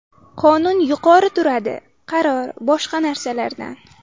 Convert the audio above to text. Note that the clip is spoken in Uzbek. Qonun yuqori turadi, qaror, boshqa narsalardan.